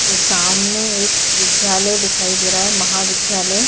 ये सामने एक विद्यालय दिखाई दे रहा है महाविद्यालय --